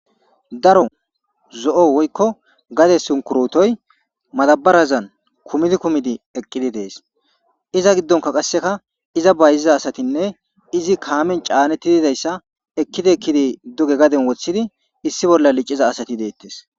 Daro zo7o woykko gade sunkurutoy madabarazan kumidi kumidi eqqidi dees iza giddonka qasseka iza bayziza asatinne izi kaamen caanetti didayssa ekkidi ekkidi duge gaden wothidi issi bolla licciza asati deettes.